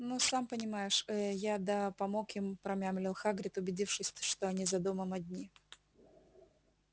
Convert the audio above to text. ну сам понимаешь ээ я да помог им промямлил хагрид убедившись то что они за домом одни